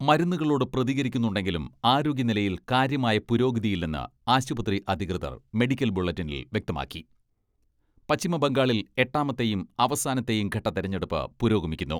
മരുന്നുകളോട് പ്രതികരിക്കുന്നുണ്ടെങ്കിലും ആരോഗ്യ നിലയിൽ കാര്യമായ പുരോഗതിയില്ലെന്ന് ആശുപത്രി അധികൃതർ മെഡിക്കൽ ബുള്ളറ്റിനിൽ വ്യക്തമാക്കി പശ്ചിമ ബംഗാളിൽ എട്ടാമത്തെയും അവസാനത്തെയും ഘട്ട തെരഞ്ഞെടുപ്പ് പുരോഗമിക്കുന്നു.